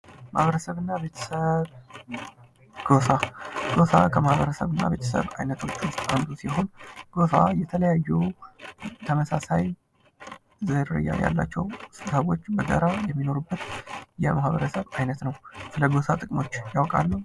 ማህበረሰብ እና ቤተሰብ ፦ ጎሳ፦ ጎሳ ከማህበረሰብ እና ቤተሰብ አይነቶች ውስጥ አንዱ ሲሆን ጎሳ የተለያዩ ተመሳሳይ ዝርያ ያላቸው ሰዎች በጋራ የሚኖሩበት የማህበረሰብ አይነት ነው ። ስለጎሳ ጥቅሞች ያውቃሉ ?